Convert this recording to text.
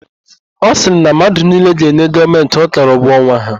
Ọ sịrị na mmadụ niile ga-enye Gọọmentị ọkara ụgwọ ọnwa ha.